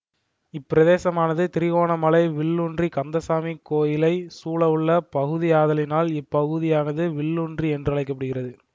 இப்பிரதேசமானது திருகோணமலை வில்லூன்றிக் கந்தசாமி கோயிலை சூழவுள்ள பகுதியாதலினால் இப்பகுதியாது வில்லூன்றி என்றழைக்கப்படுகின்றது